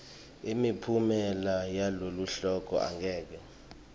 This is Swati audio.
imiphumela yaloluhlolo angeke